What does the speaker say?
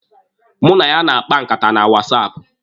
Mụ na ya na-akpa nkata na wasaapụ.